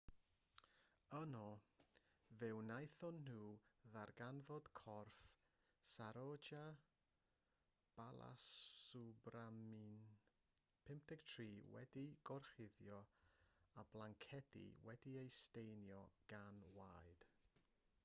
yno fe wnaethon nhw ddarganfod corff saroja balasubramanian 53 wedi'i gorchuddio â blancedi wedi'u staenio gan waed